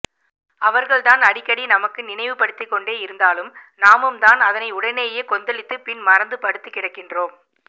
அவர்கள்தான் அடிக்கடி எமக்கு நினைவு படுத்திக்கொண்டே இருந்தாலும் நாமும்தான் அதனை உடனேயே கொந்தளித்து பின் மறந்து படுத்து கிடக்கின்றோம்